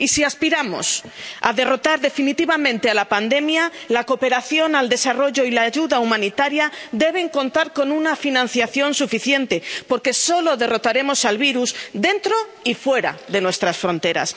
Y si aspiramos a derrotar definitivamente a la pandemia, la cooperación al desarrollo y la ayuda humanitaria deben contar con una financiación suficiente, porque solo derrotaremos al virus dentro y fuera de nuestras fronteras.